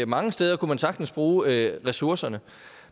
mange steder kunne man sagtens bruge ressourcerne